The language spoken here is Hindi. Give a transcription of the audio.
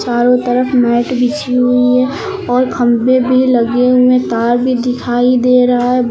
चारों तरफ मैट बिछी हुई है और खंभे भी लगे हुए तार भी दिखाई दे रहा है।